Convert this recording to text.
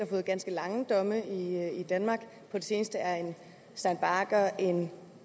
fået ganske lange domme i danmark på det seneste er en stein bagger en